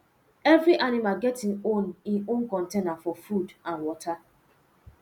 every animal get im own im own container for food and water